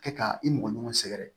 Kɛ ka i mɔgɔɲɔgɔn sɛrɛ